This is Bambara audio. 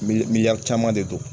Miliyari caman de don!